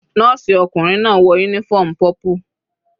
Nọ́ọ̀sì ọkùnrin náà wọ uniform purple.